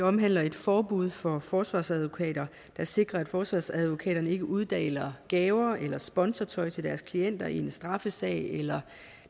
omhandler et forbud for forsvarsadvokater der sikrer at forsvarsadvokaterne ikke uddeler gaver eller sponsortøj til deres klienter i en straffesag eller